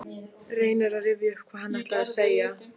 Hann sagðist vera maður efnda þegar loforð væru annars vegar.